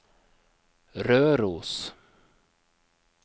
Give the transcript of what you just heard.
Røros